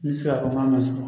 N bɛ se k'a fɔ n k'a ma